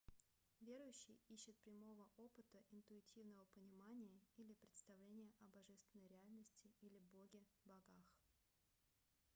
верующий ищет прямого опыта интуитивного понимания или представления о божественной реальности или боге/богах